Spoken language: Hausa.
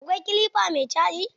Akwai kilifa mai caji?